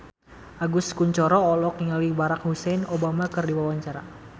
Agus Kuncoro olohok ningali Barack Hussein Obama keur diwawancara